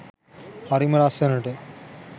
හරිම ලස්සනට